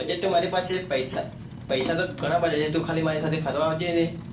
budget તો મારી પાસે પૈસા પૈસા તો ઘણા બધા છે તું ખાલી મારી સાથે ફરવા આવજે ને.